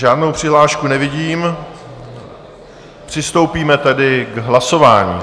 Žádnou přihlášku nevidím, přistoupíme tedy k hlasování.